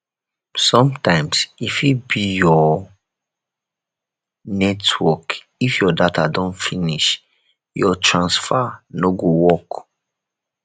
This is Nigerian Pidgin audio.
sometimes e fit be your network if your data don finish your transfer no go work